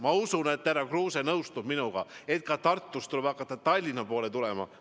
Ma usun, et härra Kruuse nõustub minuga, et ka Tartust tuleb hakata Tallinna poole tulema.